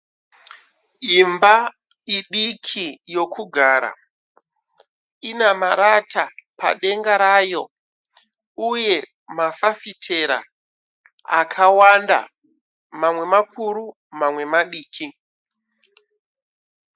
Imba idiki yokugara ina marata padenga rayo uye mafafitera akawanda. Mamwe makuru mamwe madiki.